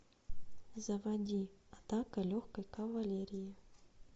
заводи атака легкой кавалерии